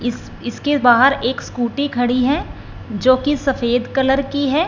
इस इसके बाहर एक स्कूटी खड़ी है जोकि सफेद कलर की है।